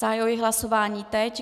Zahajuji hlasování teď.